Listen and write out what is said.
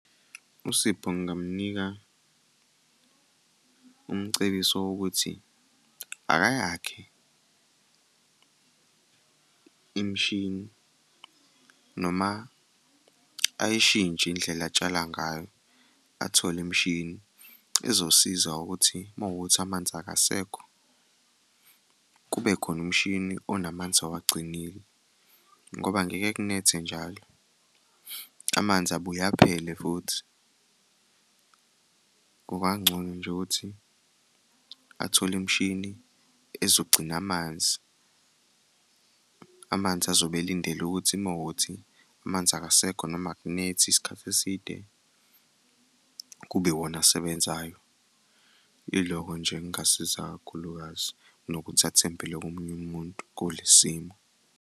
USipho ngingamnika umcebiso wokuthi, akayakhe imishini noma ayishintshe indlela atshala ngayo athole imishini ezosiza ukuthi uma kuwukuthi amanzi akasekho kube khona umshini onamanzi awagcinile, ngoba ngeke kunethe njalo, amanzi abuye aphele futhi. Kukangcono nje ukuthi athole imishini ezogcina amanzi, amanzi azobe elindele ukuthi uma kuwukuthi amanzi akasekho noma akunethi isikhathi eside, kube iwona asebenzayo. Ilokho nje engasiza kakhulukazi kunokuthi athembele komunye umuntu kule simo.